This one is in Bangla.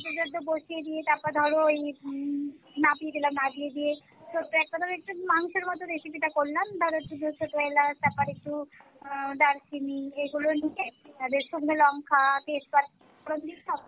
চুলাতে বসিয়ে দিয়ে তারপর ধরো এই হম মাখিয়ে দিলাম মাখিয়ে দিয়ে ছোট্ট এক রকমের একটু মাংসের মতো recipe টা করলাম ধরো দু চারটে এলাচ তারপরে একটু আহ দারচিনি এগুলো নিয়ে তাদের সঙ্গে লংকা তেজপাতা